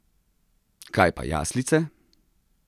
Kaj pa jaslice?